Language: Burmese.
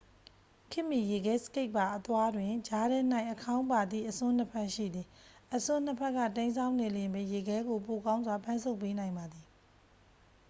ခေတ်မီ ရေခဲစကိတ်ပါ အသွားတွင် ကြားထဲ၌ အခေါင်းပါသည့် အစွန်းနှစ်ဖက် ရှိသည် အစွန်းနှစ်ဖက်က တိမ်းစောင်းနေလျှင်ပင် ရေခဲကို ပိုကောင်းစွာ ဖမ်းဆုပ်ပေးနိုင်ပါသည်